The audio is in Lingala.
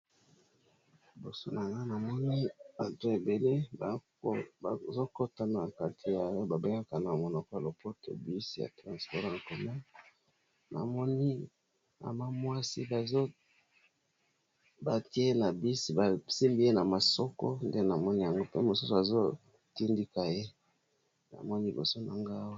Liboso na nga nazomona batu ebele bazokota na bus oyo ba bengaka na monoko ya lopoto transport en commun namoni pe mwasi moko bazo simba ye na nzoto.